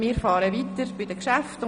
Wir fahren weiter mit den Geschäften.